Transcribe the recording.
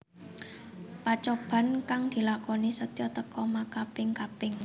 Pacoban kang dilakoni Setyo teka makaping kaping